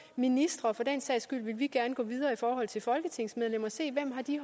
ministre for den sags skyld vil vi gerne gå videre i forhold til folketingsmedlemmer og se hvem de